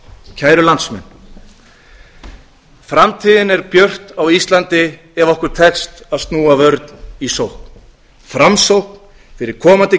kæru landsmenn framtíðin er björt á íslandi ef okkur tekst að snúa vörn í sókn framsókn fyrir komandi